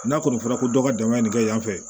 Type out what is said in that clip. N'a kɔni fɔra ko dɔ ka dankari kɛ yanfɛ